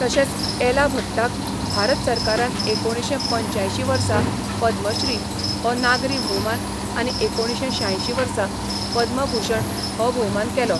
तशेंच एला भट्टाक भारत सरकारान एकुणशें पंच्यांयशीं वर्सा पद्मश्री हो नागरी भोवमान, आनी एकुणशें शांयशीं वर्सा पद्मभूषण हो भोवमान केलो.